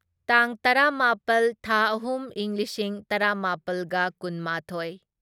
ꯇꯥꯡ ꯇꯔꯥꯃꯥꯄꯜ ꯊꯥ ꯑꯍꯨꯝ ꯢꯪ ꯂꯤꯁꯤꯡ ꯇꯔꯥꯃꯥꯄꯜꯒ ꯀꯨꯟꯃꯥꯊꯣꯢ